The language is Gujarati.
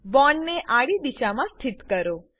બોન્ડ ને આડી દિશામાં માં સ્થિત કરો